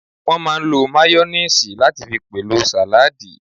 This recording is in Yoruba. Wọ́n máà ń lo máyóníìsì láti fi pèlò sàládì